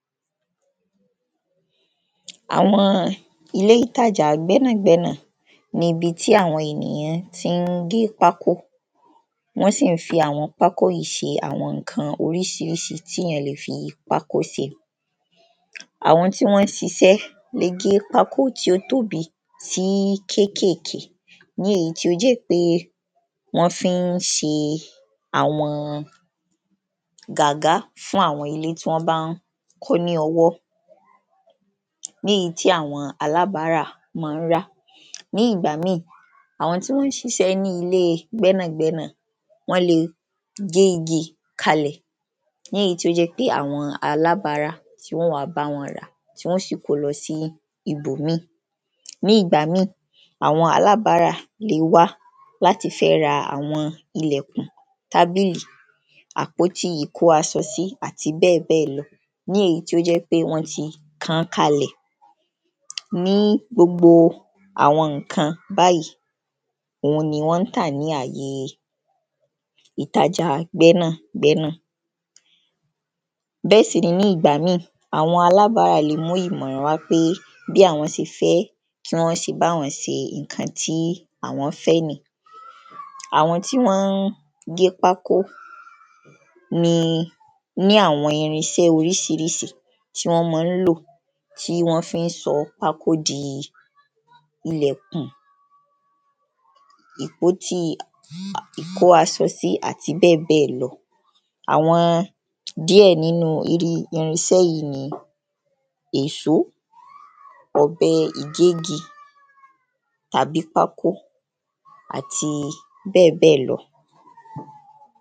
Àwọn ilé ìtajà gbẹ́nàgbẹ́nà nibi tí àwọn ènìyàn tí ń gé pákó, wọ́n sì ń fi àwọn pákó yí se àwọn ǹkan orísirísi tí yàn lè fi pákó se. Àwọn tí wọ́n ṣiṣẹ́ gígé pákó tí ó tóbi sí kékèké, ní èyí tó jẹ́ pé wọ́n fi ń se àwọn gàgá, fún àwọn ilé tí wọ́n bá ń kọ́ lọwọ́, ní èyí tí àwọn alábarà ma ń rà, ní ìgbà mí, àwọn tí wọ́n ṣiṣẹ́ ní ilé gbẹ́nà gbẹ́nà wọ́n le gé igi kalẹ̀, léyìí tí ó jẹ́ pé àwọn alábarà, tí wọ́n wǎ báwọn ràá, tí wọ́n sì ko lọ sí ibòmí, ní ìgbà mí, àwọn alábarà le wá, láti fẹ́ ra àwọn ilẹ̀kùn, tábìlì, àpótíi ìkó aṣọ sí, àti bẹ́ẹ̀bẹ́ẹ̀ lọ. ní èyí tí ó jẹ́ pé wọ́n ti kàn kalẹ̀, ní gbogbo àwọn ǹkan báyìí, òun ni wọ́n tà ní àye ìtajà gbẹ́nàgbẹ́nà, bẹ́ẹ̀ sì ni, ní ìgbà mí, àwọn alábarà le mú ìmọ̀ràn wá, pé bí àwọn se fẹ́, kí wọ́n se báwọn se ǹkan tí àwọ́n fẹ́ nìí, àwọn tí wọ́n gé pákó ni, ní àwọn irinsẹ́ orísirísi tí wọ́n ma ń lò, tí wọ́n fi ń sọ pákó di ìlẹ̀kùn, ìpótíi ìkáṣo sí àti bẹ́ẹ̀bẹ́ẹ̀ lọ. Àwọn díẹ̀ nínú irinsẹ́ yìí ni, eṣo, ọ̀bẹ-ìgégi tàbí pákó àti bẹ́ẹ̀bẹ́ẹ̀ lọ.